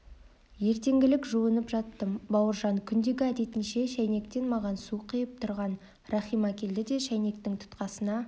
ертеңгілік жуынып жаттым бауыржан күндегі әдетінше шәйнектен маған су құйып тұрған рахима келді де шәйнектің тұтқасына